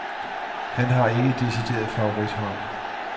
Han har ikke et decideret favorithold.